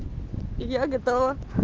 я готова